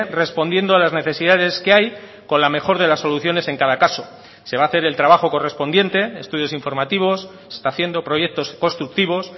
respondiendo a las necesidades que hay con la mejor de las soluciones en cada caso se va a hacer el trabajo correspondiente estudios informativos se está haciendo proyectos constructivos